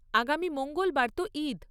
আগামী মঙ্গলবার তো ঈদ।